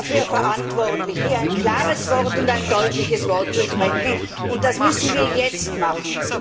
Wir sind dafür verantwortlich, hier ein klares und deutliches Wort zu sprechen, und das müssen wir jetzt machen!